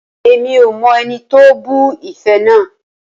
Rara, Emi ko mọ ẹni ti o bu ife naa.